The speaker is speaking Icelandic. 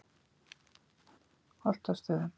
Holtastöðum